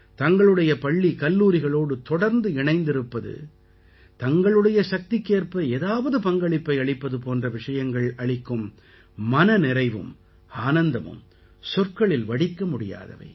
தங்களுடைய பள்ளிகல்லூரிகளோடு தொடர்ந்து இணைந்திருப்பது தங்களுடைய சக்திக்கேற்ப ஏதாவது பங்களிப்பை அளிப்பது போன்ற விஷயங்கள் அளிக்கும் மன நிறைவும் ஆனந்தமும் சொற்களில் வடிக்க முடியாதவை